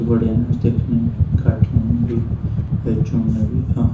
बढ़िया ना दिखनी गाठियुं म भी ए चोलयाँ माँ भी आ हां।